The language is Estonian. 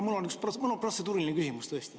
Mul on tõesti üks protseduuriline küsimus.